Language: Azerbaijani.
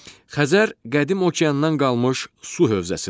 Xəzər qədim okeandan qalmış su hövzəsidir.